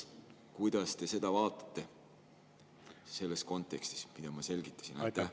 Kuidas te seda vaatate selles kontekstis, mida ma selgitasin?